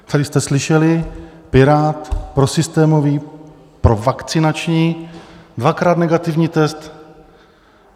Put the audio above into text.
Tady jste slyšeli: pirát, prosystémový, provakcinační, dvakrát negativní test.